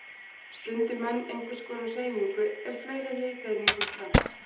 Stundi menn einhvers konar hreyfingu er fleiri hitaeiningum brennt.